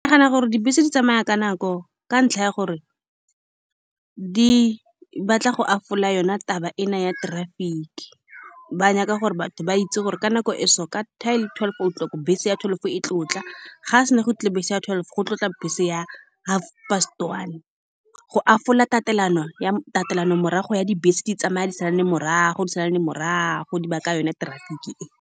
Ke nagana gore dibese di tsamaya ka nako, ka ntlha ya gore di batla go yone taba e na ya traffic-i. Ba nyaka gore batho ba itse gore ka nako e, so ka ten, twelve o-clock bese ya twelve e tlile go tla. Ga se na go tla bese ya twelve, go tlile go tla bese ya half past one, go tatelano ya tatelano morago ya dibese di tsamaya, di salane morago, di salane morago, di baka yone traffic-i e.